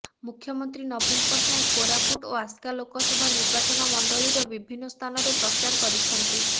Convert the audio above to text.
ମୁଖ୍ୟମନ୍ତ୍ରୀ ନବୀନ ପଟ୍ଟନୟକ କୋରାପୁଟ ଓ ଆସ୍କା ଲୋକସଭା ନିର୍ବାଚନ ମଣ୍ଡଳୀର ବିଭିନ୍ନ ସ୍ଥାନରେ ପ୍ରଚାର କରିଛନ୍ତି